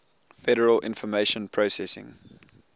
federal information processing